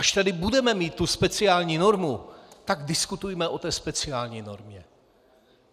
Až tady budeme mít tu speciální normu, tak diskutujme o té speciální normě!